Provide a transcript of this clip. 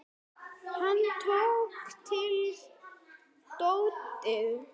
Hann tók til dótið.